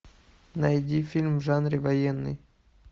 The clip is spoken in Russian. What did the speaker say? найди фильм в жанре военный